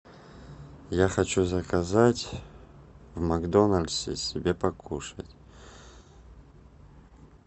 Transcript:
я хочу заказать в макдональдсе себе покушать